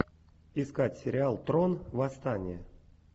искать сериал трон восстание